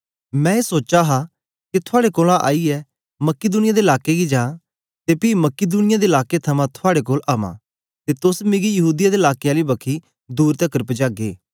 मैं ए सोचा हा के थुआड़े कोलां आईयै मकिदुनिया दे लाकें गी जां ते पी मकिदुनिया दे लाकें थमां थुआड़े कोल अवां ते तोस मिकी यहूदीया दे लाकें आली बखी दूर तकर पजागे